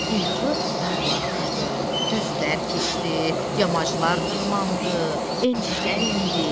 İlxi dağlar aşdı, düzlər keçdi, yamaclar dırmandı, enişlər endi.